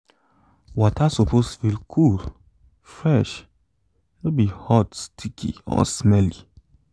water suppose feel cool fresh - no be hot sticky or smelly